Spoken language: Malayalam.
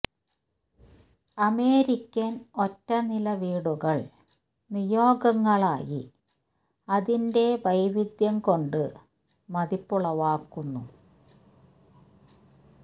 അമേരിക്കൻ ഒറ്റ നില വീടുകൾ നിയോഗങ്ങളായി അതിന്റെ വൈവിധ്യം കൊണ്ട് മതിപ്പുളവാക്കുന്നു